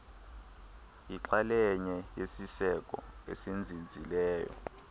yixalenye yesiseko esinzinzileyo